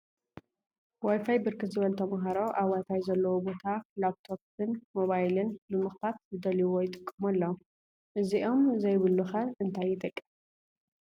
ዋይፋይ ብርክት ዝበሉ ተምሃሮ አብ ዋይፋይ ዘለዎ ቦታ ላብ ቶፕን ሞባይልን ብምክፋት ዝደለይዎ ይጥቀሙ አለው፡፡ እዚኦም ዘይብሉ ኸ እንታይ ይጥቀም?